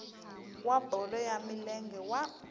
wa bolo ya milenge wa